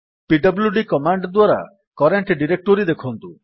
PWD command ଦ୍ୱାରା current directory ଦେଖନ୍ତୁ